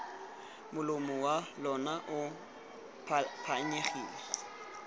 molomo wa lona bo phanyegileng